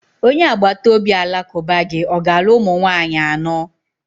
Onye agbata obi Alakụba gi ọ ga-alụ ụmụ nwaanyị anọ?